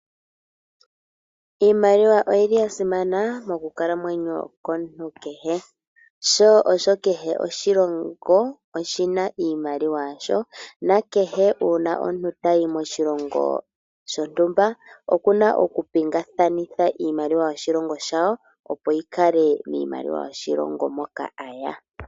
Iimaliwa oyi li ya simana mokukalamwenyo komuntu kehe. Kehe oshilongo oshi na iimaliwa yasho. Uuna omuntu ta yi moshilongo shontumba oku na oku pingaknitha iimaliwa yoshilongo shawo opo yi kale iimaliwa yoshilongo moka a ya.